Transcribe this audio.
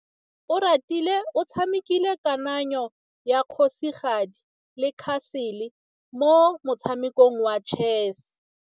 Oratile o tshamekile kananyô ya kgosigadi le khasêlê mo motshamekong wa chess.